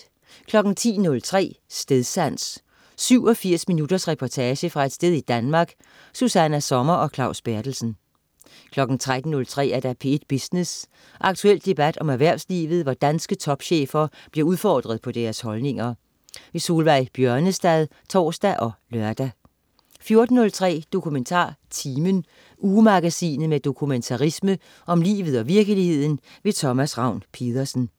10.03 Stedsans. 87 minutters reportage fra et sted i Danmark. Susanna Sommer og Claus Berthelsen 13.03 P1 Business. Aktuel debat om erhvervslivet, hvor danske topchefer bliver udfordret på deres holdninger. Solveig Bjørnestad (tors og lør) 14.03 DokumentarTimen. Ugemagasinet med dokumentarisme om livet og virkeligheden. Thomas Ravn-Pedersen